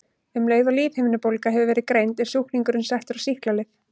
Um leið og lífhimnubólga hefur verið greind er sjúklingurinn settur á sýklalyf.